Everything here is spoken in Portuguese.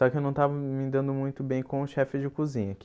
Só que eu não estava me dando muito bem com o chefe de cozinha aqui.